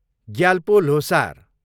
Gyalpo Losar